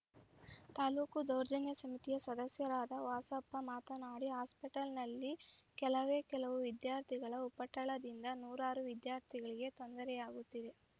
ತಾಲೂಕು ದೌರ್ಜನ್ಯ ಸಮಿತಿಯ ಸದಸ್ಯರಾದ ವಾಸಪ್ಪ ಮಾತನಾಡಿ ಹಾಸ್ಪೆಲ್‌ನಲ್ಲಿ ಕೆಲವೇ ಕೆಲವು ವಿದ್ಯಾರ್ಥಿಗಳ ಉಪಟಳದಿಂದ ನೂರಾರು ವಿದ್ಯಾರ್ಥಿಗಳಿಗೆ ತೊಂದರೆಯಾಗುತ್ತಿದೆ